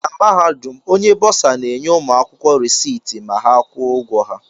Na Mahadum, Onye Bọsa na-enye ụmụ akwụkwọ reciiti ma ha kwụọ ụgwọ ha